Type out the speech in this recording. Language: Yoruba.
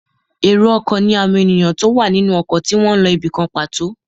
Èrò ọkọ̀ ní àwọn èèyàn tó wà nínú ọkọ̀ tí wọ́n n lọ ibìkan pàtó